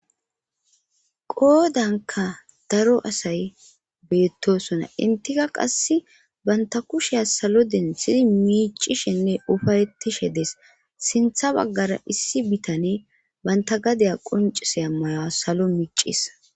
Qoodanka daro asay beettosona intika qass banta kushea salo densidi miicishinne ufarettishe dees sintha baggara issi bitane banta gadaya qoncis amayoa salo miccis.